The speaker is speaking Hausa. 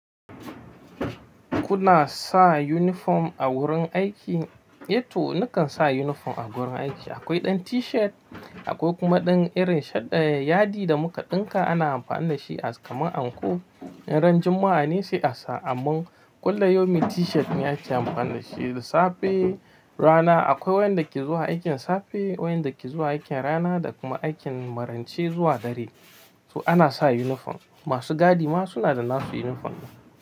Kuna sa uniform a wurin aiki? To ni kan sa uniform a wurin aiki. Akwai ɗan T-shirt, akwai kuma ɗan irin shadda yadi da muka ɗinka ana amfani da shi kamar anko. Yan ran Jumma'a ne sai a sa, amma kullayomi T-shirt ne ake amfani da shi. Da safe, rana, akwai wayan da ke zuwa aikin safe, wayan da ke zuwa aikin rana da kuma aikin marance zuwa dare. To ana sa uniform. Masu gadi ma suna da nasu uniform ɗin.